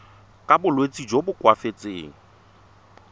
ka bolwetsi jo bo koafatsang